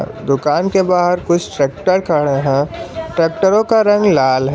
दुकान के बाहर कुछ ट्रैक्टर खड़ा है ट्रैक्टरों का रंग लाल है।